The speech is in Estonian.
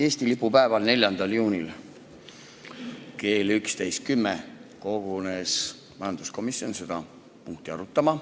Eesti lipu päeval, 4. juunil kell 11.10 kogunes majanduskomisjon seda punkti arutama.